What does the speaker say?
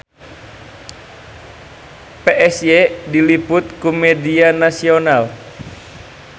Psy diliput ku media nasional